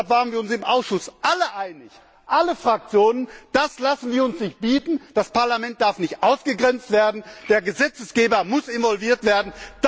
Deshalb waren wir uns im Ausschuss alle einig, alle Fraktionen Das lassen wir uns nicht bieten, das Parlament darf nicht ausgegrenzt werden, der Gesetzgeber muss involviert werden.